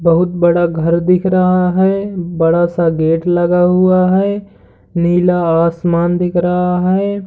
बोहोत बड़ा घर दिख रहा है। बड़ा सा गेट लगा हुआ है। नीला आसमान दिख रहा है।